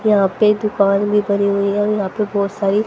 यहां पे दुकान भी बनी हुई है और यहां पे बहुत सारी--